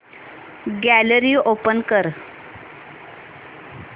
gallery open कर